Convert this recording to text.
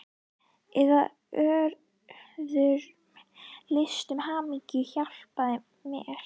Eða í öðrum listum, hamingjan hjálpi mér!